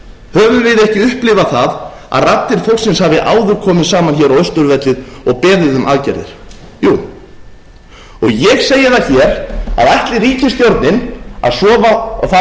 höfum við ekki upplifað það að raddir fólksins hafi áður komið saman hér á austurvelli og beðið um aðgerðir jú ég segi það hér að ætli ríkisstjórnin að að fljóta sofandi að feigðarósi